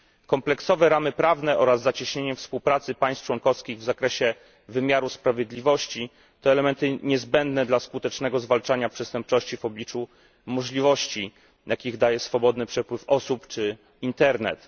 Kompleksowe ramy prawne oraz zacieśnienie współpracy państw członkowskich w zakresie wymiaru sprawiedliwości to elementy niezbędne dla skutecznego zwalczania przestępczości w obliczu możliwości, jakie daje swobodny przepływ osób czy internet.